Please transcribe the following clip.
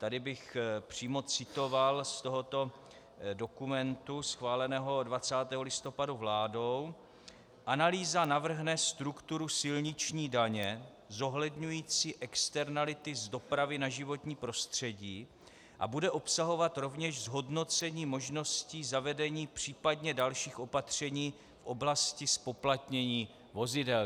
Tady bych přímo citoval z tohoto dokumentu schváleného 20. listopadu vládou: "Analýza navrhne strukturu silniční daně zohledňující externality z dopravy na životní prostředí a bude obsahovat rovněž zhodnocení možností zavedení příp. dalších opatření v oblasti zpoplatnění vozidel."